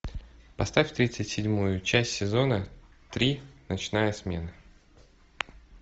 поставь тридцать седьмую часть сезона три ночная смена